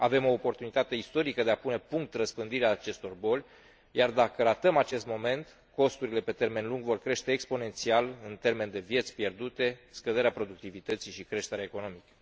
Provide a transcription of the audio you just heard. Avem o oportunitate istorică de a pune punct răspândirii acestor boli, iar dacă ratăm acest moment, costurile pe termen lung vor crește exponențial, în termeni de vieți pierdute, scăderea productivității și creștere economică.